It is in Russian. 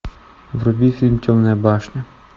вруби фильм темная башня